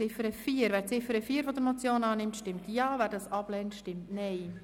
Wer die Ziffer 4 der Motion annimmt, stimmt Ja, wer dies ablehnt, stimmt Nein.